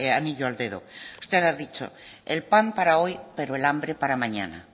anillo al dedo usted ha dicho el pan para hoy pero el hambre para mañana